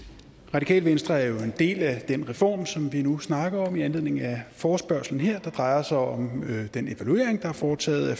radikale venstre er jo en del af den reform som vi nu snakker om i anledning af forespørgslen her der drejer sig om den evaluering der er foretaget af